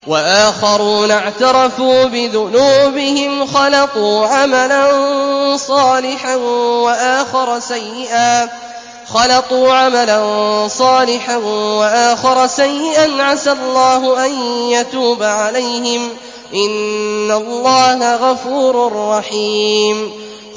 وَآخَرُونَ اعْتَرَفُوا بِذُنُوبِهِمْ خَلَطُوا عَمَلًا صَالِحًا وَآخَرَ سَيِّئًا عَسَى اللَّهُ أَن يَتُوبَ عَلَيْهِمْ ۚ إِنَّ اللَّهَ غَفُورٌ رَّحِيمٌ